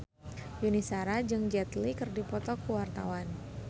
Yuni Shara jeung Jet Li keur dipoto ku wartawan